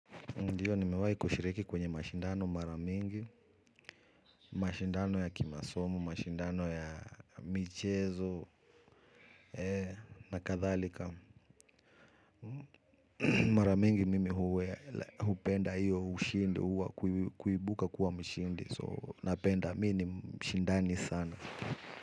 Ndiyo, nimewai kushiriki kwenye mashindano maramingi, mashindano ya kimasomo, mashindano ya michezo, na kathalika. Maramingi mimi huwe, hupenda hiyo, ushindi wa, kuibuka kuwa mshindi. So, napenda mini mshindani sana.